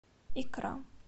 икра